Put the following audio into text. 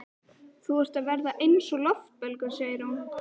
Þú ert að verða eins og loftbelgur, segir hún.